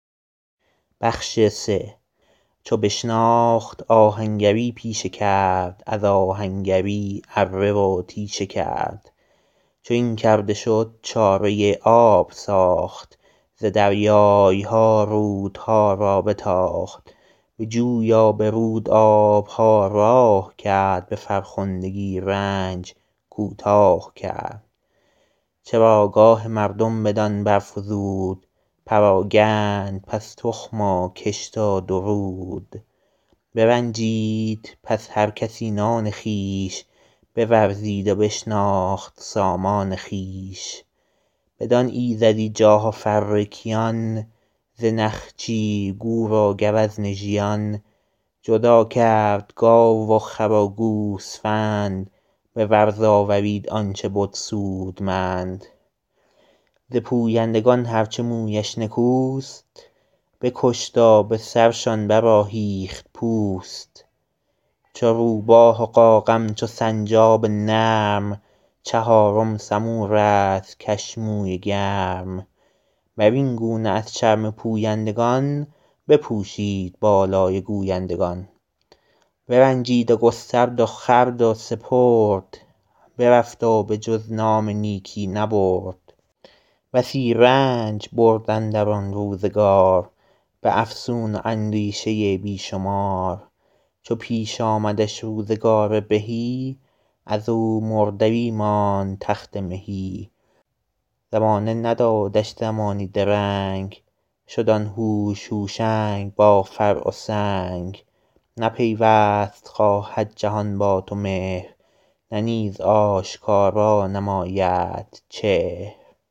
چو بشناخت آهنگری پیشه کرد از آهنگری اره و تیشه کرد چو این کرده شد چاره آب ساخت ز دریای ها رودها را بتاخت به جوی و به رود آب ها راه کرد به فرخندگی رنج کوتاه کرد چراگاه مردم بدان برفزود پراگند پس تخم و کشت و درود برنجید پس هر کسی نان خویش بورزید و بشناخت سامان خویش بدان ایزدی جاه و فر کیان ز نخچیر گور و گوزن ژیان جدا کرد گاو و خر و گوسفند به ورز آورید آن چه بد سودمند ز پویندگان هر چه مویش نکوست بکشت و به سرشان برآهیخت پوست چو روباه و قاقم چو سنجاب نرم چهارم سمور است کش موی گرم بر این گونه از چرم پویندگان بپوشید بالای گویندگان برنجید و گسترد و خورد و سپرد برفت و به جز نام نیکی نبرد بسی رنج برد اندر آن روزگار به افسون و اندیشه بی شمار چو پیش آمدش روزگار بهی از او مردری ماند تخت مهی زمانه ندادش زمانی درنگ شد آن هوش هوشنگ با فر و سنگ نه پیوست خواهد جهان با تو مهر نه نیز آشکارا نمایدت چهر